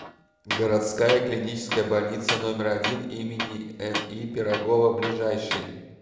городская клиническая больница номер один им ни пирогова ближайший